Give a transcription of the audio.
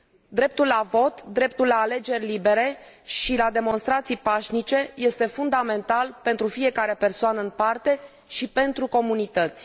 Dreptul la vot, dreptul la alegeri libere și la demonstrații pașnice este fundamental pentru fiecare persoană în parte și pentru comunități.